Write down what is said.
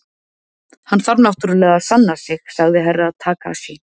Hann þarf náttúrulega að sanna sig, sagði Herra Takashi.